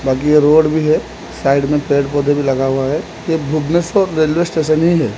बाकी के रोड भी है साइड में पेड़ पौधे भी लगा हुआ है ये भुवनेस्वर रेलवे स्टेशन ही है।